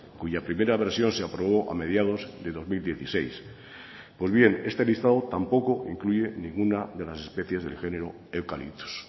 cuya primera versión se aprobó a mediados de dos mil dieciséis pues bien este listado tampoco incluye ninguna de las especies del género eucaliptos